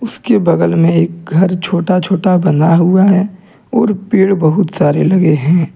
इसके बगल में एक घर छोटा छोटा बना हुआ है और पेड़ बहुत सारे लगे हैं।